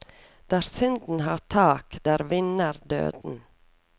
Der synden har tak, der vinner døden.